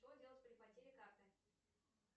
что делать при потере карты